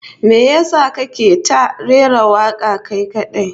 Me yasa kake ta rera waka kai kadai?